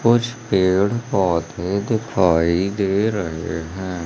कुछ पेड़ पौधे दिखाई दे रहे हैं।